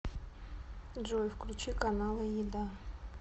джой включи каналы еда